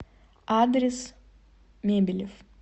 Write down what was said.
адрес мебелев